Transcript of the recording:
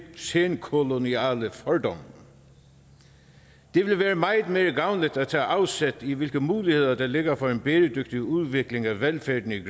senkoloniale fordomme det vil være meget mere gavnligt at tage afsæt i hvilke muligheder der ligger for en bæredygtig udvikling af velfærden i